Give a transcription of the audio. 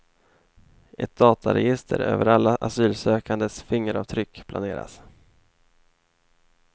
Ett dataregister över alla asylsökandes fingeravtryck planeras.